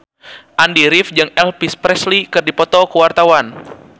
Andy rif jeung Elvis Presley keur dipoto ku wartawan